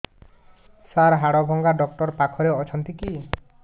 ସାର ହାଡଭଙ୍ଗା ଡକ୍ଟର ପାଖରେ ଅଛନ୍ତି କି